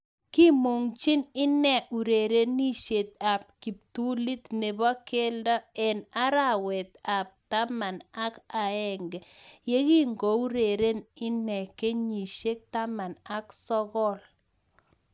Kiimungchii inee urerenisiet ab kiptulit neboo keldo eng arawet ab taman ak aenge yekikakoureren inee kenyisiek taman ak sogol